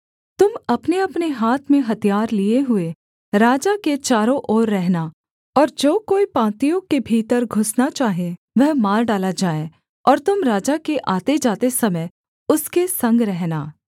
तुम अपनेअपने हाथ में हथियार लिये हुए राजा के चारों और रहना और जो कोई पाँतियों के भीतर घुसना चाहे वह मार डाला जाए और तुम राजा के आतेजाते समय उसके संग रहना